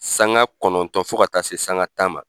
Sanga kɔnɔntɔn fo ka taa se sanga tan ma.